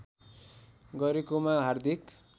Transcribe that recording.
गरेकोमा हार्दिक